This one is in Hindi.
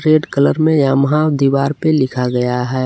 रेड कलर में यामाहा दीवार पे लिखा गया है।